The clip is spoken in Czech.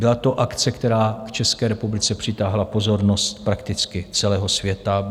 Byla to akce, která k České republice přitáhla pozornost prakticky celého světa.